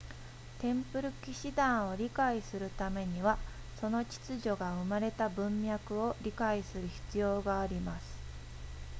テンプル騎士団を理解するためにはその秩序が生まれた文脈を理解する必要があります